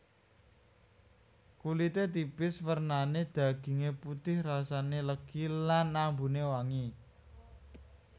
Kulite tipis wernane daginge putih rasane legi lan ambune wangi